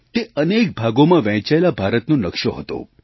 તે અનેક ભાગોમાં વહેંચાયેલા ભારતનો નકશો હતો